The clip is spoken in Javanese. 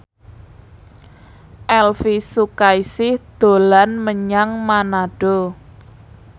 Elvy Sukaesih dolan menyang Manado